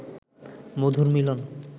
মধুর মিলন